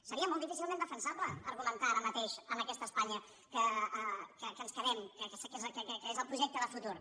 seria molt difícilment defensable argu·mentar ara mateix en aquesta espanya que ens quedem que és el projecte de futur